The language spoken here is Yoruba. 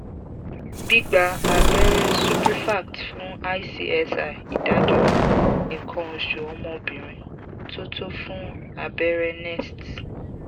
gbigba abẹrẹ suprefact fun icsi idaduro ikan osu omo obirin to to fun abẹrẹ nest